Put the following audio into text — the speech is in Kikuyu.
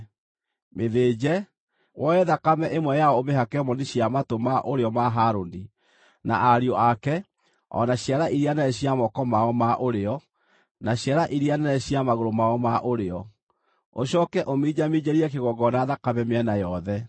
Mĩthĩnje, woe thakame ĩmwe yayo ũmĩhake moni cia matũ ma ũrĩo ma Harũni na ariũ ake o na ciara iria nene cia moko mao ma ũrĩo, na ciara iria nene cia magũrũ mao ma ũrĩo. Ũcooke ũminjaminjĩrie kĩgongona thakame mĩena yothe.